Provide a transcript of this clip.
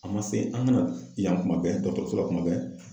A ma se an ka na yan kuma bɛɛ dɔgɔtɔrɔso la kuma bɛɛ.